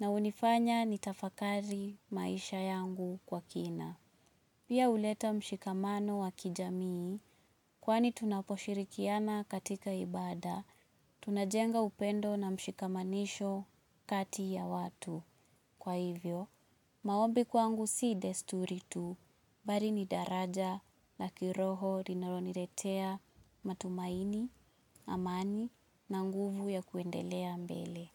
na hunifanya nitafakari maisha yangu kwa kina. Pia huleta mshikamano wa kijamii, kwani tunaposhirikiana katika ibada, tunajenga upendo na mshikamanisho kati ya watu. Kwa hivyo, maombi kwangu si desturi tu, mbali ni daraja, la kiroho, linalo niletea, matumaini, amani, na nguvu ya kuendelea mbele.